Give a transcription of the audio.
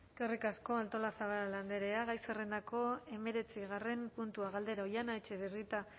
eskerrik asko artolazabal andrea gai zerrendako hemeretzigarren puntua galdera oihana etxebarrieta